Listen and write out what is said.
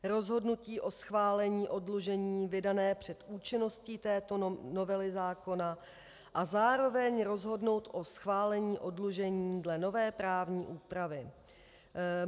... rozhodnutí o schválení oddlužení vydané před účinností této novely zákona a zároveň rozhodnout o schválení oddlužení dle nové právní úpravy.